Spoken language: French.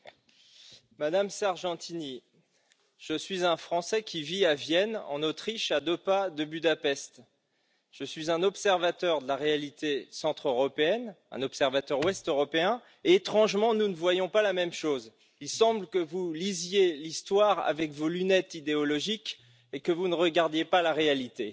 Monsieur le Président, Monsieur le Premier ministre, Madame Sargentini, je suis un Français qui vit à Vienne, en Autriche, à deux pas de Budapest. Je suis un observateur de la réalité centre-européenne, un observateur ouest-européen et, étrangement, nous ne voyons pas la même chose. Il semble que vous lisiez l'histoire avec vos lunettes idéologiques et que vous ne regardiez pas la réalité.